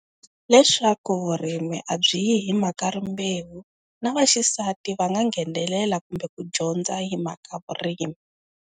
Leswaku vurimi a byi yi hi mhaka rimbewu na vaxisati va nga nghenelela kumbe ku dyondza hi mhaka vurimi.